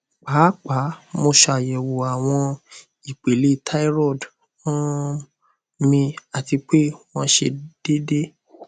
paapaa mo ṣayẹwo awọn ipele thyroid um mi ati pe wọn sẹ deede